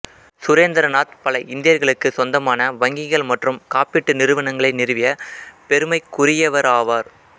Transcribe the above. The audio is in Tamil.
சுரேந்திரநாத் பல இந்தியர்களுக்கு சொந்தமான வங்கிகள் மற்றும் காப்பீட்டு நிறுவனங்களை நிறுவிய பெருமைக்குரியவராவார்